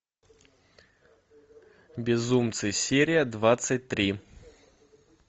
безумцы серия двадцать три